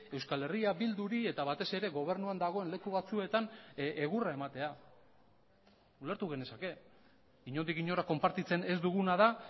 euskal herria bilduri eta batez ere gobernuan dagoen leku batzuetan egurra ematea ulertu genezake inondik inora konpartitzen ez duguna da